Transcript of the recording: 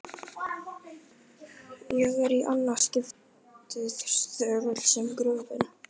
Ég er- í annað skiptið- þögull sem gröfin.